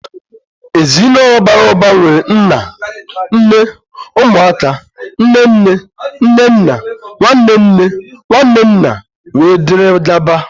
Ezinaụlọ bàrà ụba nwere nnà, nné, ụmụ aka, nné nné, nné nna, nwanne nne, nwanne nna, wee dịrị gaba..